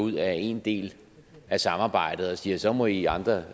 ud af en del af samarbejdet og siger så må i andre